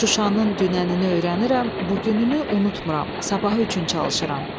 Şuşanın dünənini öyrənirəm, bugününü unutmram, sabaha üçün çalışıram.